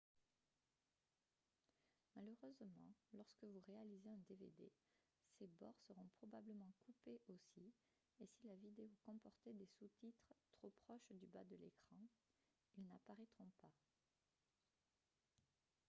malheureusement lorsque vous réalisez un dvd ses bords seront probablement coupés aussi et si la vidéo comportait des sous-titres trop proches du bas de l'écran ils n'apparaîtront pas